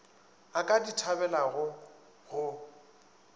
a ka di thabelago go